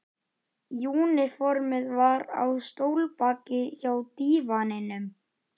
Ég hef verið trúr sjálfstæðishugsjóninni alla tíð.